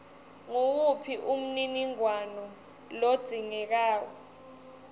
nguwuphi umniningwano lodzingekako